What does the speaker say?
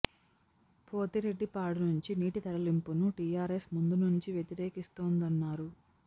పోతిరెడ్డిపాడు నుంచి నీటి తరలింపును టిఆర్ఎస్ ముందు నుంచీ వ్యతిరేకిస్తోం దన్నారు